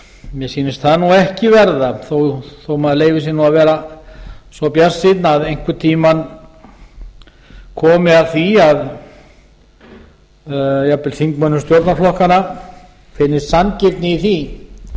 mér sýnist það nú ekki verða þó að maður leyfi sér nú að vera svo bjartsýnn að einhvern tíma komi að því að jafnvel þingmönnum stjórnarflokkanna finnist sanngirni í því